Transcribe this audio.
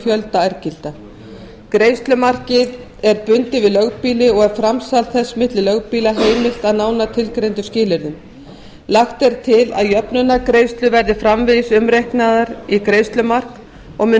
fjölda ærgilda greiðslumarkið er bundið við lögbýli og er framsal þess milli lögbýla heimilt að nánar tilgreindum skilyrðum lagt er til að jöfnunargreiðslur verði framvegis umreiknaðar í greiðslumark og mun